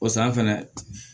O san fɛnɛ